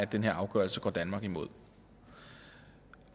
den her afgørelse går danmark imod